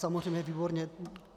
Samozřejmě, výborně.